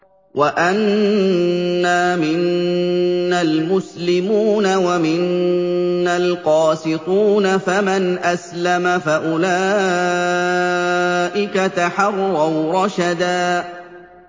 وَأَنَّا مِنَّا الْمُسْلِمُونَ وَمِنَّا الْقَاسِطُونَ ۖ فَمَنْ أَسْلَمَ فَأُولَٰئِكَ تَحَرَّوْا رَشَدًا